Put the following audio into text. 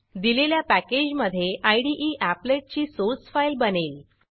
दिलेल्या पॅकेजमधे इदे एपलेट ची सोर्स फाईल बनेल